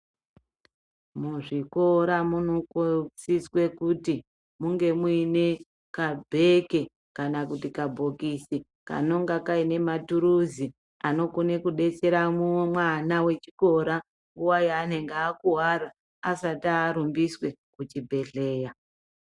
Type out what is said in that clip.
Muzvikora munosiswe kuti munge muine kabheke kana kuti kabhokisi, kanonga kaine maturuzi anokone kudetsera mwana wechikora nguwa yaanenge akuwara, asati arumbiswe kuchibhedhleya.